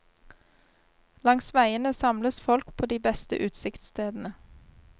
Langs veiene samles folk på de beste utsiktsstedene.